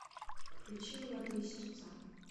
включи молодые сердца